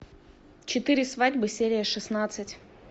четыре свадьбы серия шестнадцать